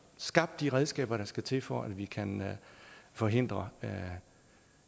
skabt de redskaber der skal til for at vi kan forhindre